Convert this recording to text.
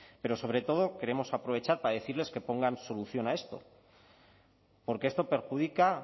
pero sobre todo queremos aprovechar para decirles que pongan solución a esto porque esto perjudica